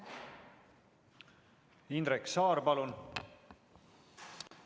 Indrek Saar, palun!